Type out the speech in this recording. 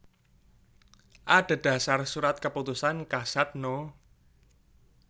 Adhedhasar Surat Keputusan Kasad No